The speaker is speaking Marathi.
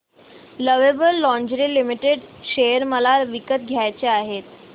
लवेबल लॉन्जरे लिमिटेड शेअर मला विकत घ्यायचे आहेत